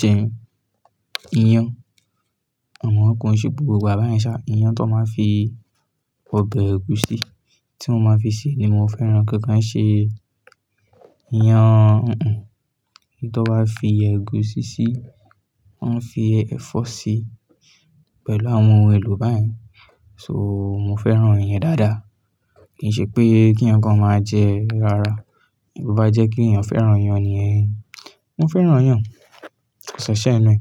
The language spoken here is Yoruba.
jẹ iyán, àmo ko n ṣe gbogbo igbá yẹn ṣà. Iyán ti won máa n fi ọbẹ̀ ẹ̀gúsí, tí wọ́n máa fi sè ni mo fẹ́ràn ko kí n ṣe iyán, un-un. Tí wọ́n bá fi ẹ̀gúsí sí, ti wọ́n fi ẹ̀fọ́ sí pẹ̀lú àwọn ohun èlò báyen. So mo fẹ́ràn iyán dáadáa. Kì í ṣe pé kí eyan kan máa jẹ rárá. Bo bá jẹ́ kí èèyàn fẹ́ràn iyán ni, mo fẹ́ràn iyán. Ko si ẹ̀ṣẹ́ ninù ẹ́.